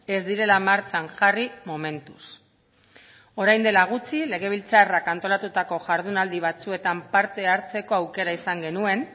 ez direla martxan jarri momentuz orain dela gutxi legebiltzarrak antolatutako jardunaldi batzuetan parte hartzeko aukera izan genuen